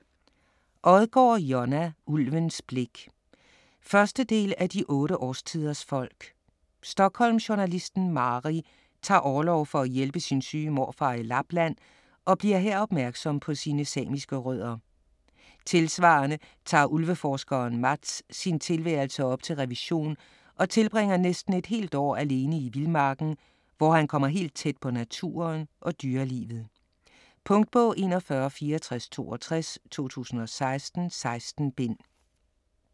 Odgaard, Jonna: Ulvens blik 1. del af De otte årstiders folk. Stockholmjournalisten Mari tager orlov for at hjælpe sin syge morfar i Lapland og bliver her opmærksom på sine samiske rødder. Tilsvarende tager ulveforskeren Mats sin tilværelse op til revision og tilbringer næsten et helt år alene i vildmarken, hvor han kommer helt tæt på naturen og dyrelivet. Punktbog 416462 2016. 16 bind.